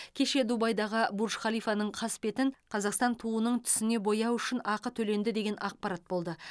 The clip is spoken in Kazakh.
кеше дубайдағы бурж халифаның қасбетін қазақстан туының түсіне бояу үшін ақы төленді деген ақпарат болды